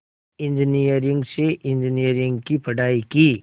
engineering से engineering की पढ़ाई की